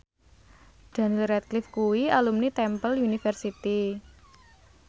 Daniel Radcliffe kuwi alumni Temple University